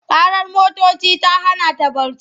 Ƙarar motoci ta hana ta barci.